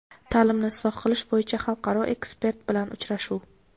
Ta’limni isloh qilish bo‘yicha xalqaro ekspert bilan uchrashuv.